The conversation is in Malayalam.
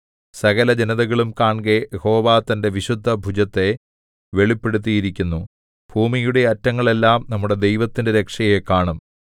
സകലജനതകളും കാൺകെ യഹോവ തന്റെ വിശുദ്ധഭുജത്തെ വെളിപ്പെടുത്തിയിരിക്കുന്നു ഭൂമിയുടെ അറ്റങ്ങളെല്ലാം നമ്മുടെ ദൈവത്തിന്റെ രക്ഷയെ കാണും